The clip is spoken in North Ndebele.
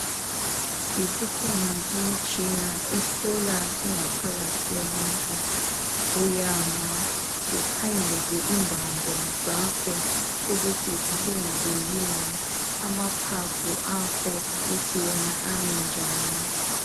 Isikhona imitshina ehlola ingaphakathi yomuntu. Uyama ukhangelwe imbambo zakho ukuthi zilungile yini? Amaphaphu akho ukuthi wona ami njani?